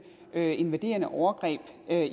invaderende overgreb